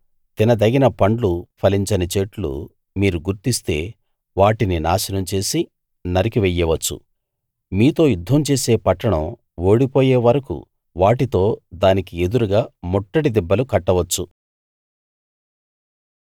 తినదగిన పండ్లు ఫలించని చెట్లు మీరు గుర్తిస్తే వాటిని నాశనం చేసి నరికి వెయ్యవచ్చు మీతో యుద్ధం చేసే పట్టణం ఓడిపోయే వరకూ వాటితో దానికి ఎదురుగా ముట్టడి దిబ్బలు కట్టవచ్చు